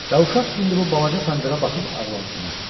Və uşaq indi bu balaca pomidora baxıb ağlamsınırdı.